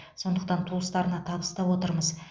сондықтан туыстарына табыстап отырмыз